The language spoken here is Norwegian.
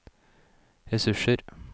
ressurser